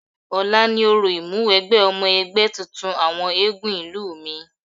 Ọ̀la ni orò ìmúwẹgbẹ́ ọmọ ẹgbẹ́ tuntun àwọn eégún ìlú mi.